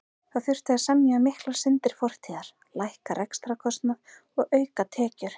Það þurfti að semja um miklar syndir fortíðar, lækka rekstrarkostnað og auka tekjur.